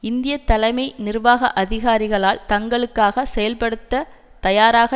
இந்திய தலைமை நிர்வாக அதிகாரிகளால் தங்களுக்காக செயல்படுத்த தயாராக